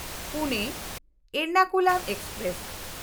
Pune Ernakulam express